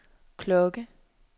klokke